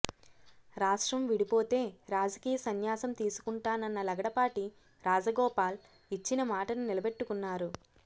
రాష్ట్రం విడిపోతే రాజకీయ సన్యాసం తీసుకుంటానన్న లగడపాటి రాజగోపాల్ ఇచ్చిన మాటను నిలబెట్టుకున్నారు